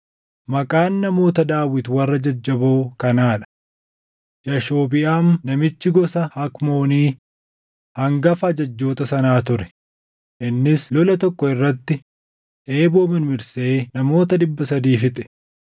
Maqaan namoota Daawit warra jajjaboo kanaa dha: Yaashobiʼaam namichi gosa Hakmooni hangafa ajajjoota sanaa ture; innis lola tokko irratti eeboo mirmirsee namoota dhibba sadii fixe.